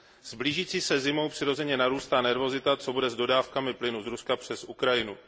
S blížící se zimou přirozeně narůstá nervozita, co bude s dodávkami plynu z Ruska přes Ukrajinu.